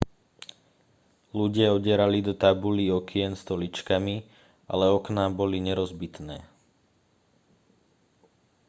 ľudia udierali do tabulí okien stoličkami ale okná boli nerozbitné